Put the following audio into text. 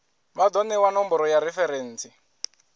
vha do newa nomboro ya referentsi